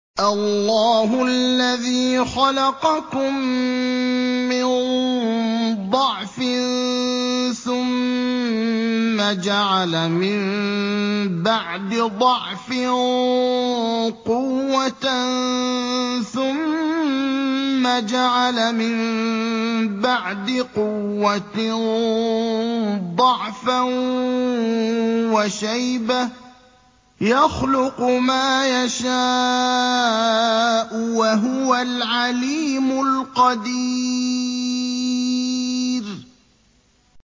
۞ اللَّهُ الَّذِي خَلَقَكُم مِّن ضَعْفٍ ثُمَّ جَعَلَ مِن بَعْدِ ضَعْفٍ قُوَّةً ثُمَّ جَعَلَ مِن بَعْدِ قُوَّةٍ ضَعْفًا وَشَيْبَةً ۚ يَخْلُقُ مَا يَشَاءُ ۖ وَهُوَ الْعَلِيمُ الْقَدِيرُ